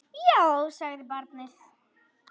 Já, sagði barnið.